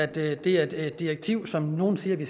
det er et direktiv som nogle siger vi